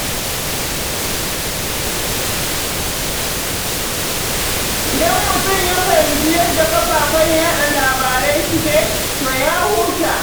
Idan mutum ya fahimci yadda kafafen yaɗa labarai suke, to ya huta.